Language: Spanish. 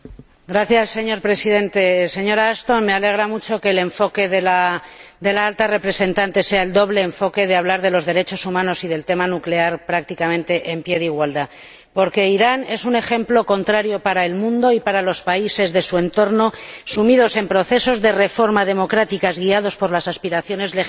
Señor Presidente, señora Ashton, me alegra mucho que el enfoque de la Alta Representante sea el doble enfoque de hablar de los derechos humanos y del tema nuclear prácticamente en pie de igualdad, porque Irán es un ejemplo en contrario para el mundo y para los países de su entorno que, sumidos en procesos de reforma democrática y guiados por las aspiraciones legítimas